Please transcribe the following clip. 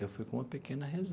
Eu fui com uma pequena